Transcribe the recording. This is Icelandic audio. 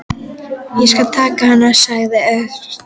Ég skal taka hann sagði Örn.